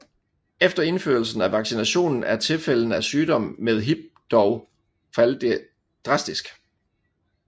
Efter indførelsen af vaccinationen er tilfældene af sygdom med Hib dog faldet drastisk